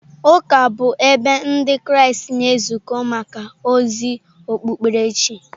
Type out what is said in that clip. Ụka bụ ebe Ndị Kraịst na-ezukọ maka ozi okpukperechi.